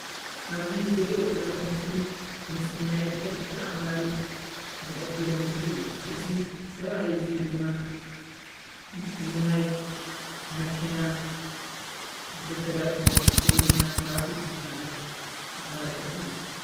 ኣብዚ እርእዮ ዘለኩ ምስሊ ሕጊ ኣክባሪ ዝሕብር ምስሊ እዩ። እዙይ ሰብኣይ ድማ ንናይ መኪና ዝከታተል ወይ ድማ ትራፊኪ ዝባሃል ኣክባሪ ሕጊ እዩ።